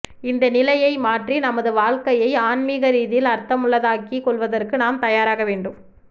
இந்த நிலையை மாற்றி நமது வாழ்க்கையை ஆன்மீக ரீதியில் அர்த்தமுள்ள தாக்கி கொள்வதற்கு நாம் தயாராக வேண்டும்